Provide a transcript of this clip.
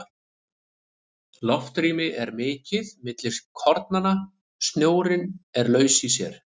Loftrými er mikið milli kornanna, snjórinn er laus í sér.